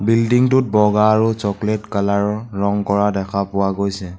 বিল্ডিংটোত বগা আৰু চকলেট কালাৰৰ ৰঙ কৰা দেখা পোৱা গৈছে।